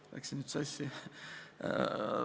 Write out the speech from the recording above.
Mul läks nüüd sassi.